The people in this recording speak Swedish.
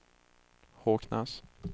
Håknäs